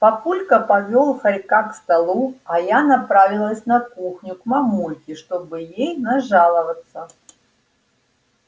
папулька повёл хорька к столу а я направилась на кухню к мамульке чтобы ей нажаловаться